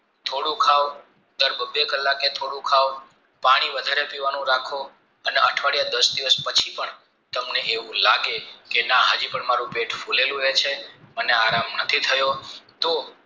થોડું ખાવ ત્યાર બબે કલાકે થોડું ખાવ પાણી વધારે પીવાનું રાખો અને અઠવાડિયા દાસ દિવસ પછી પણ તમને એવું લાગે કે ના હાજી પણ અમારું પેટ ફુલેલું લાગે અને આરામ નથી થયો તો